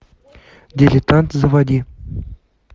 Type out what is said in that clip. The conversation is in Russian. дилетант заводи